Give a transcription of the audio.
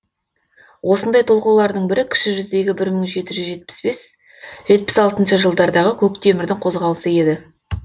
осындай толқулардың бірі кіші жүздегі бір мың жеті жүз жетпіс бесінші жетпіс алтыншы жылдардағы көктемірдің қозғалысы еді